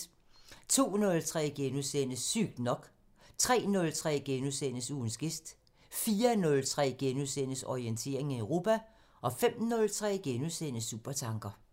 02:03: Sygt nok * 03:03: Ugens gæst * 04:03: Orientering Europa * 05:03: Supertanker *